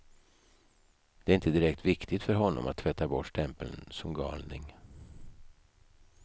Det är inte direkt viktigt för honom att tvätta bort stämpeln som galning.